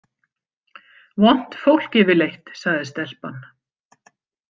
Vont fólk yfirleitt, sagði stelpan.